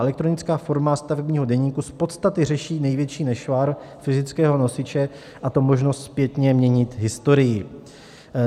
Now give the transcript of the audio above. Elektronická forma stavebního deníku z podstaty řeší největší nešvar fyzického nosiče, a to možnost zpětně měnit historii.